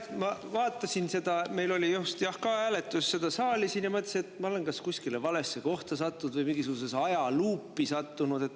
Tead, ma vaatasin seda hääletust, mis meil just oli siin saalis, ja mõtlesin, et ma olen kas kuskile valesse kohta või mingisugusesse ajaluupi sattunud.